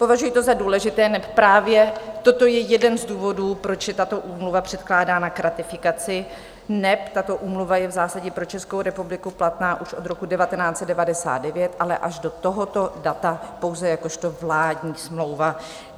Považuji to za důležité, neb právě toto je jeden z důvodů, proč je tato úmluva předkládána k ratifikaci, neb tato úmluva je v zásadě pro Českou republiku platná už od roku 1999, ale až do tohoto data pouze jakožto vládní smlouva.